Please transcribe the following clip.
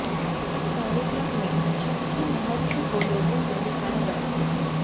इस कार्यक्रम में छठ के महत्व को लोगों को दिखाया गया